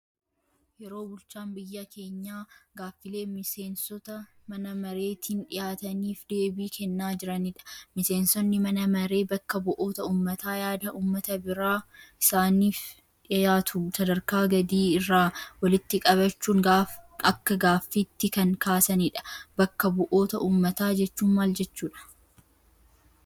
Yeroo bulchaan biyyaa keenyaa gaaffiilee miseensota mana mareetiin dhiyaataniif deebii kennaa jiranidha. Miseensonni mana maree bakka bu'oota uummataa yaada uummata biraa isaaniif dhiyaatu sadarkaa gadii irraa walitti qabachuun akka gaaffiitti kan kaasanidha. Bakka bu'oota uummataa jechuun maal jechuudha?